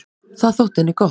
Það þótti henni gott.